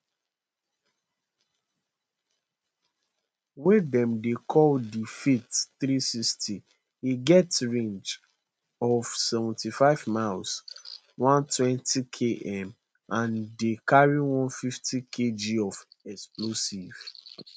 wey dem dey call di fath three hundred and sixty e get range of seventy five miles one hundred and twenty km and dey carry one hundred and fiftykg of explosives